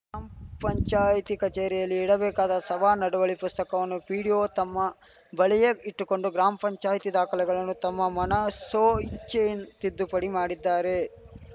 ಮ ಪಂಚಾಯ್ತಿ ಕಚೇರಿಯಲ್ಲಿ ಇಡಬೇಕಾದ ಸಭಾ ನಡುವಳಿ ಪುಸ್ತಕವನ್ನು ಪಿಡಿಒ ತಮ್ಮ ಬಳಿಯೇ ಇಟ್ಟುಕೊಂಡು ಗ್ರಾಮ ಪಂಚಾಯ್ತಿ ದಾಖಲೆಗಳನ್ನು ತಮ್ಮ ಮನಸೋ ಇಚ್ಚೆ ತಿದ್ದುಪಡಿ ಮಾಡಿದ್ದಾರೆ